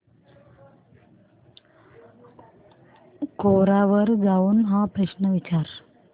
कोरा वर जाऊन हा प्रश्न विचार